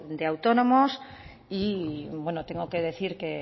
de autónomo y bueno tengo que decir que